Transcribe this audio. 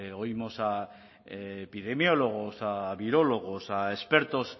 oímos a epidemiólogos a virólogos a expertos